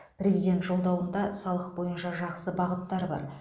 президент жолдауында салық бойынша жақсы бағыттар бар